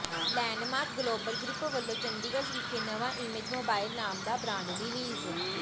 landmark global group ਵਲੋਂ ਚੰਡੀਗੜ੍ਹ ਵਿਖੇ ਨਵਾਂ ਇਮੇਜ ਮੋਬਾਇਲ ਨਾਮ ਦਾ ਬਰਾਂਡ ਰੀਲੀਜ਼